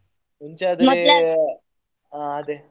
ಮುಂಚೆ ಹಾ ಅದೇ.